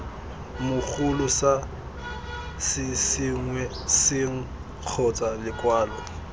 mogolo sa sešwengšeng kgotsa lekwalo